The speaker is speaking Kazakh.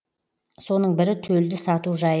соның бірі төлді сату жайы